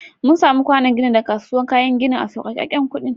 Mun samu kwànon ginin daga kasuwan kayan ginin a sauƙeken kuɗi.